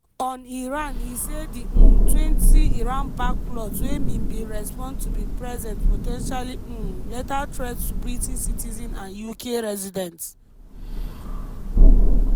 on iran e say di [um]twentyiran-backed plots wey mi5 bin respond to bin present "po ten tially um lethal threats to british citizens and uk residents".